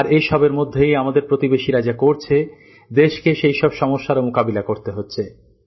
আর এ সবের মধ্যেই আমাদের প্রতিবেশীরা যা করছে দেশকে সেইসব সমস্যারও মোকাবেলা করতে হচ্ছে